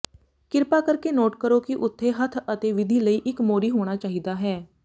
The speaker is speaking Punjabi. ਕਿਰਪਾ ਕਰਕੇ ਨੋਟ ਕਰੋ ਕਿ ਉਥੇ ਹੱਥ ਅਤੇ ਵਿਧੀ ਲਈ ਇੱਕ ਮੋਰੀ ਹੋਣਾ ਚਾਹੀਦਾ ਹੈ